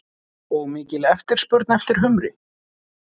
Og mikil eftirspurn eftir humri?